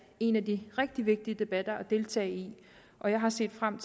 en af de rigtig vigtige debatter at deltage i og jeg har set frem